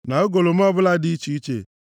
na ugolọma ọbụla dị iche iche,